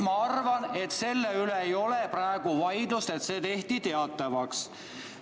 Ma arvan, et selle üle ei ole praegu vaidlust, et see tehti teatavaks.